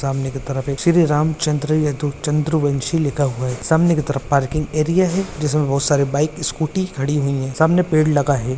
सामने की तरफ एक श्री राम चंद्र चंद्रवंशी लिखा हुआ है सामने की तरफ पार्किंग एरिया है जिसमें बहुत सारे बाइक स्कूटी खड़ी हुई है सामने पेड़ लगा है।